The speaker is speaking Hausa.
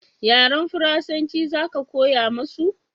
yaren faransanci za ka koya musu?